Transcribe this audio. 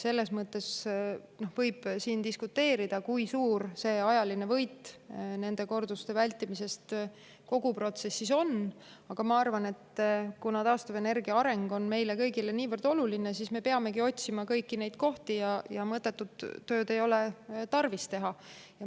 Selles mõttes võib siin diskuteerida, kui suur on see ajaline võit nende korduste vältimisest kogu protsessis, aga ma arvan, et kuna taastuvenergia areng on meile kõigile niivõrd oluline, siis me peamegi otsima kõiki neid kohti, sest mõttetut tööd ei ole tarvis teha.